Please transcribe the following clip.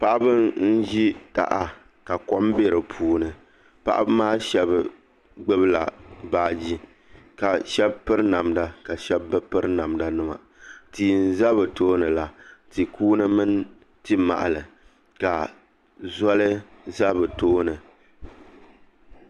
Paɣaba n ʒi taha ka kom bɛ di puuni paɣaba maa shab gbubila baaji ka shab piri namda ka shab bi piri namda nima tia n ʒɛ bi toonila tia kuuni mini tia mahali ka zoli ʒɛ bi tooni